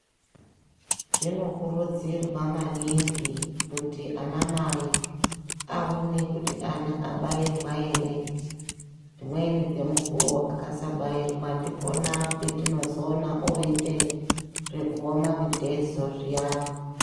Zvinokurudzirwa maningi kuti anamai ,aone kuti ana abairwa ere. Dzimweni dzemukuwo, akasabairwa ndipona petinozoona oite, zvekuoma mitezo zviyani.